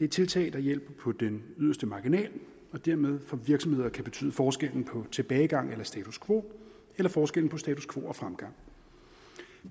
tiltag der hjælper på den yderste marginal og dermed for virksomheder kan betyde forskellen på tilbagegang eller status quo eller forskellen på status quo og fremgang